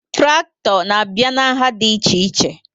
Trakto na abịa n'nha dị iche iche